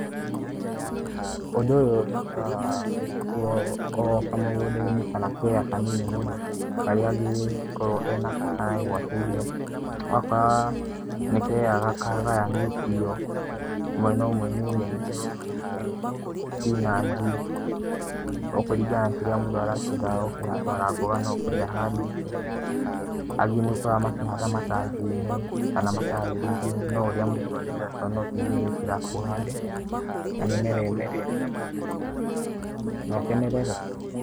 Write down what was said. Ũndũ uyũ nĩ ũkoraga wĩkĩtwo o kamugunda-inĩ kana kea kanini mũndũ ta karia angĩkorwo enako, kana egwatĩire, ugakorwo kagayanĩtio, mwena ũmwe nĩ nyeni uyũ ũnge niĩ spinachi o kũringana na kĩria mũndũ arakienda gũkĩhanda ona mboga no ũkore ahandite, angĩ nĩ ũkoraga makĩhanda matangi-inĩ kana matairi-inĩ no ũria mundũ arienda to no tĩrĩ ũgũikira uhande na mĩmera ĩmere na ũkenerere.